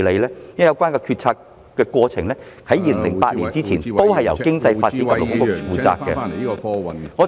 因為有關決策的過程在2008年前也是由商務及經濟發展局負責......